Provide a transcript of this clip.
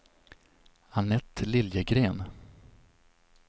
Anette Liljegren